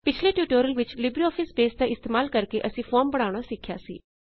ਪਿਛਲੇ ਟਿਯੂਟੋਰਿਅਲ ਵਿਚ LibreOffice base ਦਾ ਇਸਤੇਮਾਲ ਕਰਕੇ ਅਸੀਂ ਫੋਰਮ ਬਣਾਉਣਾ ਸਿਖਿਆ ਸੀ